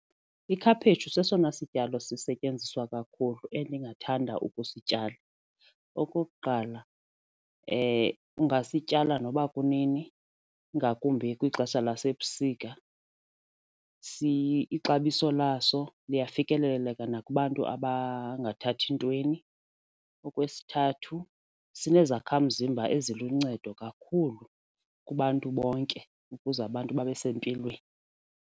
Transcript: Ikhaphetshu sesona sityalo sisetyenziswa kakhulu endingathanda ukusityala. Okokuqala ungasityala noba kunini ingakumbi kwixesha lasebusika, ixabiso laso liyafikeleleka nakubantu abangathathi ntweni. Okwesithathu, sinezakhamzimba eziluncedo kakhulu kubantu bonke ukuze abantu babe sempilweni.